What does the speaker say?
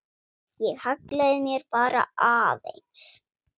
Ég hallaði mér bara aðeins.